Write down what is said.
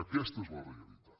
aquesta és la realitat